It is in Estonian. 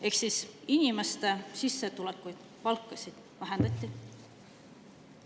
Ehk siis inimeste sissetulekuid, palkasid vähendati.